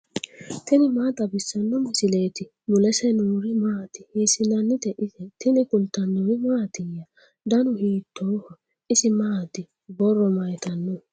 tini maa xawissanno misileeti ? mulese noori maati ? hiissinannite ise ? tini kultannori mattiya? dannu hiittoho? isi maatti? borro mayiittano?